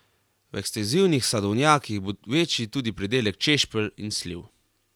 V ekstenzivnih sadovnjakih bo večji tudi pridelek češpelj in sliv.